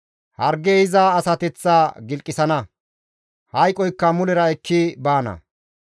Hargey iza asateththa gilqisana; hayqoykka mulera ekki baana.